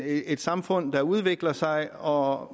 et samfund der udvikler sig og